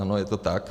Ano, je to tak.